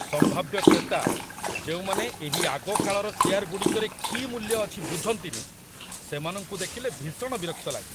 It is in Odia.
ସମ୍ଭାବ୍ୟ କ୍ରେତା, ଯେଉଁମାନେ ଏହି ଆଗକାଳର ଚେୟାରଗୁଡ଼ିକରେ କି ମୂଲ୍ୟ ଅଛି ବୁଝନ୍ତିନି, ସେମାନଙ୍କୁ ଦେଖିଲେ ଭୀଷଣ ବିରକ୍ତ ଲାଗେ।